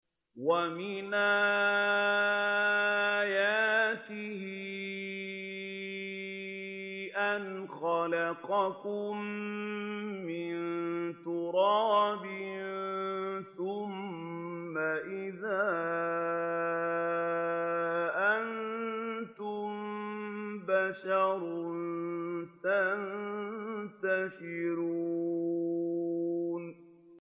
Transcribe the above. وَمِنْ آيَاتِهِ أَنْ خَلَقَكُم مِّن تُرَابٍ ثُمَّ إِذَا أَنتُم بَشَرٌ تَنتَشِرُونَ